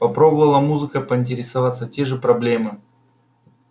попробовала музыкой поинтересоваться те же проблемы